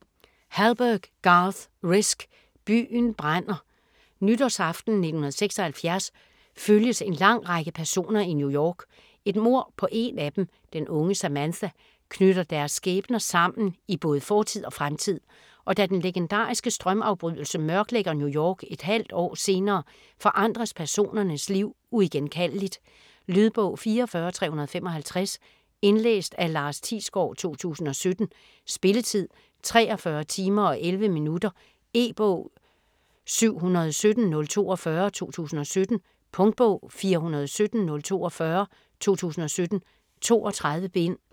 Hallberg, Garth Risk: Byen brænder Nytårsaften 1976 følges en lang række personer i New York. Et mord på en af dem, den unge Samantha, knytter deres skæbner sammen i både fortid og fremtid. Og da den legendariske strømafbrydelse mørklægger New York et halvt år senere, forandres personernes liv uigenkaldeligt. Lydbog 44355 Indlæst af Lars Thiesgaard, 2017. Spilletid: 43 timer, 11 minutter. E-bog 717042 2017. Punktbog 417042 2017. 32 bind.